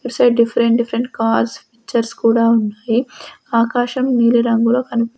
ఇట్సైడ్ different different cars pictures కూడా ఉన్నాయి ఆకాశం నీలి రంగులో కని--